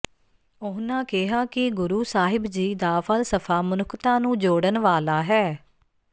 ਉਨ੍ਹਾਂ ਕਿਹਾ ਕਿ ਗੁਰੂ ਸਾਹਿਬ ਜੀ ਦਾ ਫ਼ਲਸਫ਼ਾ ਮਨੁੱਖਤਾ ਨੂੰ ਜੋੜਨ ਵਾਲਾ ਹੈ